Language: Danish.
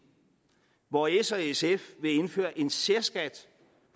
hvor s og sf vil indføre en særskat